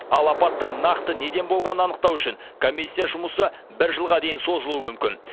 ал апаттың нақты неден болғанын анықтау үшін комиссия жұмысы бір жылға дейін созылуы мүмкін